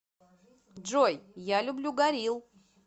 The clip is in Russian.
джой я люблю горилл